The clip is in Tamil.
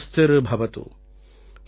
ஓம் சர்வேஷாம் ஸ்வஸ்திர் பவது